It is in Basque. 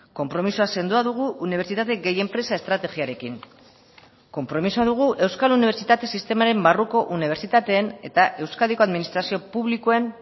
konpromisoa sendoa dugu unibertsitate gehi enpresa estrategiarekin konpromisoa dugu euskal unibertsitate sistemaren barruko unibertsitateen eta euskadiko administrazio publikoen